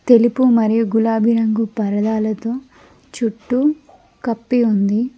తెలుపు మరియు గులాబీ రంగు పరదాలతో చుట్టూ కప్పి ఉంది.